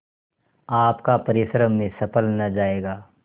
आपका परिश्रम निष्फल न जायगा